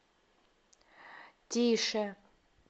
тише